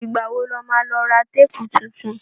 Ìgbà wo lo má ra téèpù tuntun?